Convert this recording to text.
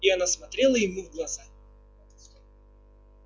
и она смотрела ему в глаза